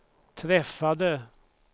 träffade